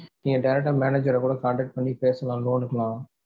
நீங்க direct டா manager ற கூட contact பண்ணி பேசலாம் loan னுக்குனா.